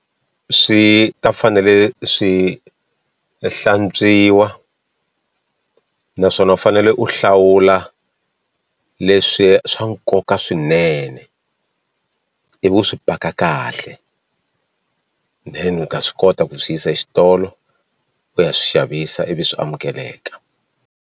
Swi ta fanele swi hlantswiwa naswona u fanele u hlawula leswi swa nkoka swi swinene ivi u swi paka kahle then u ta swi kota ku swi yisa xitolo ku ya swi xavisa ivi swi amukeleka.